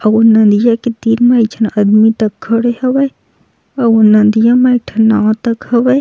अऊ नदिया के तीर मे एक झन आदमी तक खड़े हवय अऊ नदिया म एक ठ नाव तक हवय।